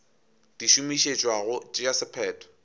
di šomišetšwa go tšea sephetho